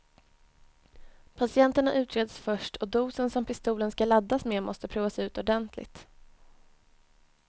Patienterna utreds först och dosen som pistolen ska laddas med måste provas ut ordentligt.